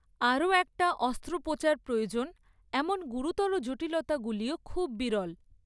আরও একটা অস্ত্রোপচার প্রয়োজন এমন গুরুতর জটিলতাগুলিও খুব বিরল।